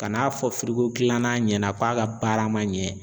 Ka n'a fɔ gilanan ɲɛna k'a ka baara man ɲɛ.